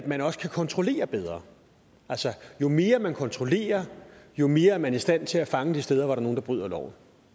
at man også kan kontrollere bedre altså jo mere man kontrollerer jo mere er man i stand til at fange de steder hvor der er nogle der bryder loven